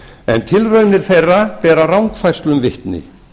en tilraunir meira bera rangfærslum vitni